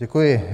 Děkuji.